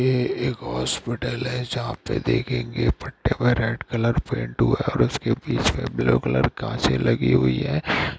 ये एक हॉस्पिटल है जहां पे देखेंगे फट्टे पे रेड कलर पेंट हुआ है और उस के बीच में ब्लू कलर कांचें लगी हुई हैं।